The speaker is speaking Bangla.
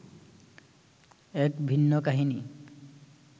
এক ভিন্ন কাহিনি